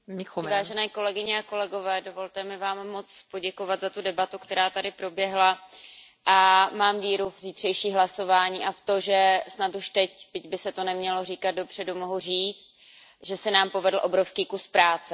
Vážené kolegyně a vážení kolegové, dovolte mi vám moc poděkovat za tu debatu, která tady proběhla, a mám víru v zítřejší hlasování a v to, že snad už teď, byť by se to nemělo říkat dopředu, mohu říct, že se nám povedl obrovský kus práce.